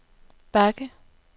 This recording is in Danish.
bakke